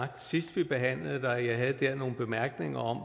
sidst vi behandlede det og jeg havde der nogle bemærkninger om